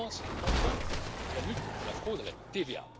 Je pense enfin à la lutte contre la fraude à la TVA.